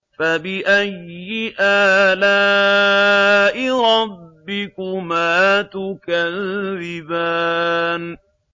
فَبِأَيِّ آلَاءِ رَبِّكُمَا تُكَذِّبَانِ